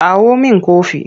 Kawo min kofi!